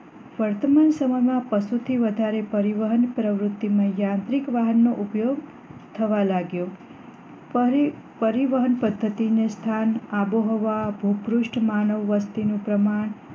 વર્તમાન સમયમાં પશુ પાલન સાથે પરિવહન માટે યાંત્રિક વાહનો નો ઉપયોગ થવા લાગ્યો પરી પરિવહન પદ્ધતિની સ્થાન આબોહવા ભ્રુપુષ્ટ માનવ વસ્તી નું પ્રમાણ